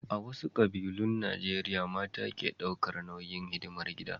A wasu ƙabilun Najeriya mata ke ɗaukar nauyin hidimar gida.